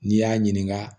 N'i y'a ɲininka